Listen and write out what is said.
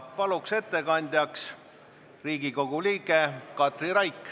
Palun, ettekandja, Riigikogu liige Katri Raik!